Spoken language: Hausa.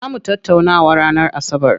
Zaa mu tattaunawa ranar asabar.